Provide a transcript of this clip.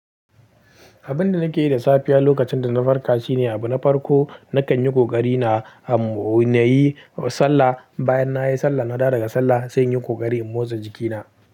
Abin da nake yi da safiya lokacin da na farka shine abu na farko, na kan yi ƙoƙari na a, na yi sallah. Bayan na yi sallah, na dawo daga sallah sai in yi ƙoƙari in motsa jikina.